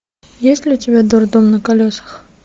есть ли у тебя дурдом на колесах